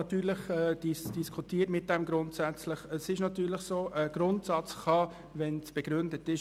Natürlich trifft es zu, dass ein Grundsatz Ausnahmen zulassen kann, wenn diese begründet sind.